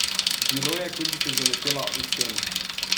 Bilo je, kot bi se zaletela v steno.